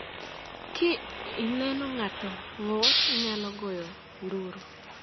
Ka ineno ka ng’ato ng’ur, inyalo goyo nduru.